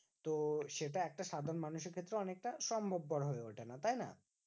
তো সেটা একটা সাধারণ মানুষের ক্ষেত্রে অনেকটা সম্ভবপর হয়ে ওঠেনা তাইনা?